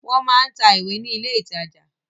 Wọ́n máa ń tà ìwé ní ilé-ìtajà.